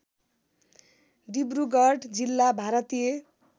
डिब्रुगढ जिल्ला भारतीय